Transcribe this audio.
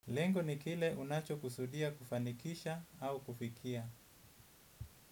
Lengo ni kile unachokusudia kufanikisha au kufikia.